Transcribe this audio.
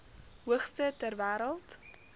hoogste ter wêreld